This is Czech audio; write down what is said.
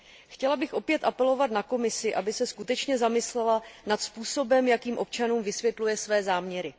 Chtěla bych opět apelovat na Komisi, aby se skutečně zamyslela nad způsobem, jakým občanům vysvětluje své záměry.